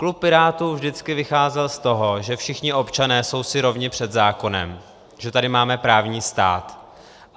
Klub Pirátů vždycky vycházel z toho, že všichni občané jsou si rovni před zákonem, že tady máme právní stát.